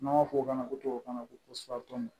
N'an b'a fɔ o ma ko tubabukan ko